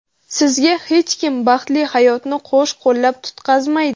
Sizga hech kim baxtli hayotni qo‘shqo‘llab tutqazmaydi.